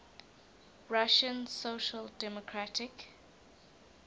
russian social democratic